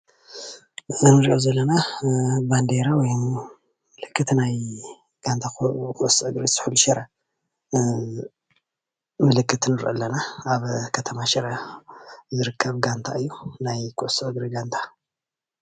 እዚ እንሪኦ ዘለና ማንዴራ ወይ ምልክት ናይ ጋንታ ኩዕሶ እግሪ ስሑል ሽረ ምልክት ንርኢ ኣለና፣ ኣብ ከተማ ሽረ ዝርከብ ጋንት እዩ ናይ ኩዕሶ እግሪ ጋንታ፡፡